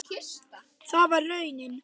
Það varð raunin.